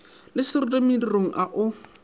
le seroto modirong o a